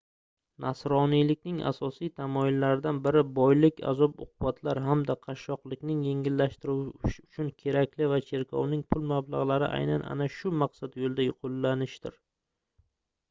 nasroniylikning asosiy tamoyillaridan biri boylik azob-uqubatlar hamda qashshoqlikni yengillashtirish uchun kerak va cherkovning pul mablagʻlari aynan ana shu maqsad yoʻlida qoʻllanishidir